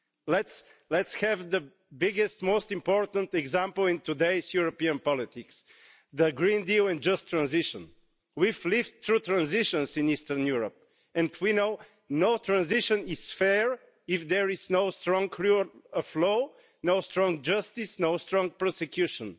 Let's take the biggest, most important example in today's European politics the Green Deal and Just Transition. We've lived through transitions in Eastern Europe, and we know that no transition is fair if there is no strong rule of law, no strong justice and no strong prosecution.